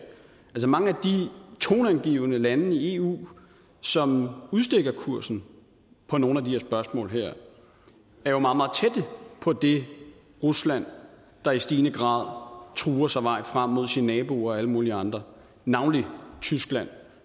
at mange af de toneangivende lande i eu som udstikker kursen på nogle af de her spørgsmål jo er meget meget tæt på det rusland der i stigende grad truer sig vej frem mod sine naboer og alle mulige andre navnlig tyskland